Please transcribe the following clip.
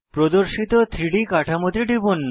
প্রদর্শিত 3ডি কাঠামোতে টিপুন